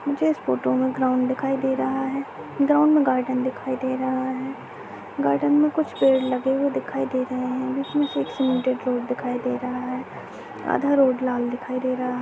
मुझे इस फोटो में ग्राउंड दिखाई दे रहा है ग्राउंड में गार्डन दिखाई दे रहा है गार्डन मै कुछ पेड लगे हुए दिखाई दे रहे है जिसमे कुछ दिखाई दे रहा है आधा रोड लाल दिखाई दे रहा है।